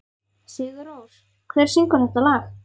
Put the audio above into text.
Sigurrós, hver syngur þetta lag?